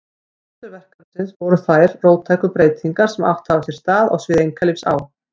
Forsendur verkefnisins voru þær róttæku breytingar sem átt hafa sér stað á sviði einkalífs á